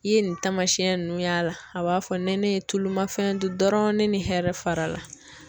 I ye nin taamasiyɛn nunnu y'a la a b'a fɔ ni ne ye tulu ma fɛn di dɔrɔn ne ni hɛrɛ fara la